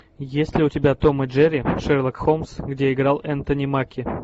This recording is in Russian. есть ли у тебя том и джерри шерлок холмс где играл энтони маки